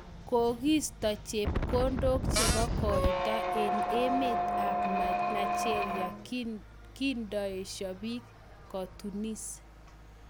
Kokiisto chepkondok chebo koito eng emet ab Nigeria kindoesho bik kotunis.